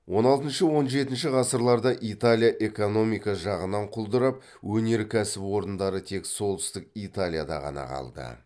он алтыншы он жетінші ғасырларда италия экономика жағынан құлдырап өнеркәсіп орындары тек солтүстік италияда ғана қалды